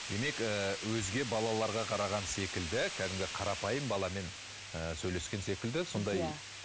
демек ы өзге баларларға қараған секілді кәдімгі қарапайым баламен ы сөйлескен секілді сондай иә